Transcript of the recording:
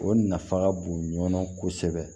O nafa ka bon ɲɔnɔn kosɛbɛ